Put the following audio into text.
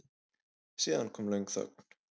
Síðan kom löng þögn.